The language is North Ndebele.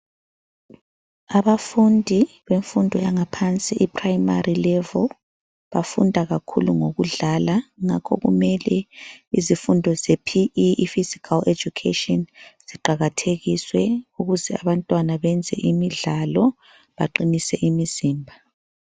Abafundi bemfundo yangaphansi i-Primary Level bafunda kakhulu ngokudlala, ngakho kumele izifundo ze P. E, i-Physical Education ziqakathekiswe ukuze abantwana benze imidlalo beqinise imizimba.